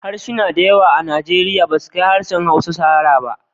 Harsuna da yawa a Arewacin Nigeria basu kai harshen Hausa shahara ba.